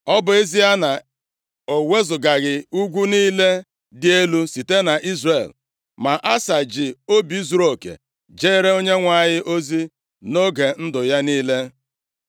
Ọ bụ ezie na o wezugaghị ugwu niile dị elu site nʼIzrel, ma Asa ji obi zuruoke jere Onyenwe anyị ozi nʼoge ndụ ya niile